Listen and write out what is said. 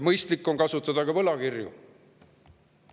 Mõistlik on kasutada ka võlakirju.